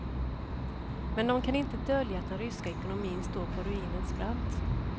Men de kan inte dölja att den ryska ekonomin står på ruinens brant.